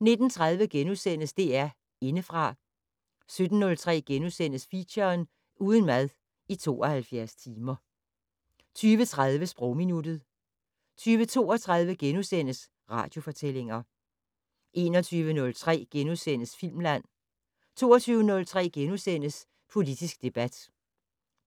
19:30: DR Indefra * 20:03: Feature: Uden mad i 72 timer * 20:30: Sprogminuttet 20:32: Radiofortællinger * 21:03: Filmland * 22:03: Politisk debat